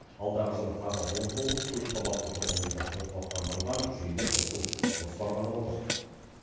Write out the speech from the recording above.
алдағы жылы тағы он тоғыз көпқабатты тұрғын үйді орталықтандырылған жүйеге қосу жоспарланып отыр